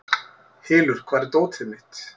Hylur, hvar er dótið mitt?